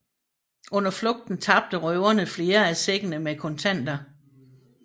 Under flugten tabte røverne flere af sækkene med kontanter